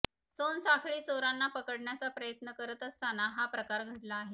सोनसाखळी चोरांना पकडण्याचा प्रयत्न करत असताना हा प्रकार घडला आहे